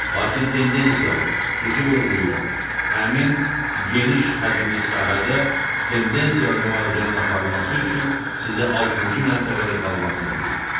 Lakin tendensiyalı, xüsusi vurğulayıram, həmin geniş həcmli sahədə tendensiyalı müalicənin aparılması üçün sizə altıncı mərtəbədə qalmağınız uyğundur.